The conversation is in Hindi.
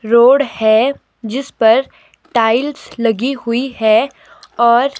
रोड है जिस पर टाइल्स लगी हुई है और--